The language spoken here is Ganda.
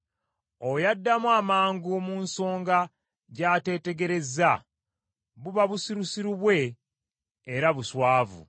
Oyo addamu amangu mu nsonga gy’ateetegerezza, buba busirusiru bwe era buswavu.